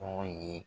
Tɔgɔ ye